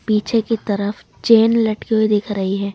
पीछे की तरफ चैन लटकी हुई दिख रही है।